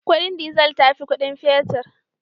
Kudin dizal ta fi kudin fetir